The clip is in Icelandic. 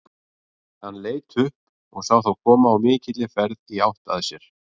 Frekara lesefni á Vísindavefnum Geta veirusýkingar fylgt mat?